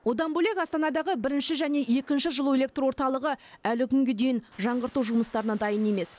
одан бөлек астанадағы бірінші және екінші жылу электр орталығы әлі күнге дейін жаңғырту жұмыстарына дайын емес